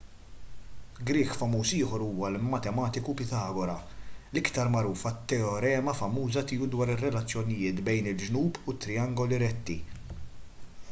grieg famuż ieħor huwa l-matematiku pitagora l-aktar magħruf għat-teorema famuża tiegħu dwar ir-relazzjonijiet bejn il-ġnub ta' trijangoli retti